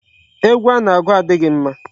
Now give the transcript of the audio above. Egwu a na-agụ adịghị mma.